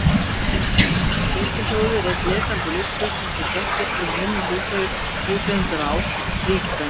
Bjölluhljóðið er einn lekandi lúxus, eins og gert til að minna húseigendur á ríkidæmi sitt.